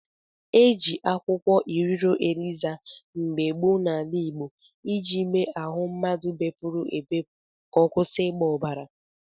E jị akwụkwọ Iriro Eliza mgbe gboo n'ala Igbọ iji mee ahụ mmadụ bepuru ebepu ka ọ kwusị ịgba obara.